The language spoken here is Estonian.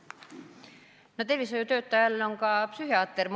No tervishoiutöötaja all on mõeldud ka psühhiaatrit.